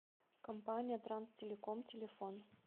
компания транстелеком телефон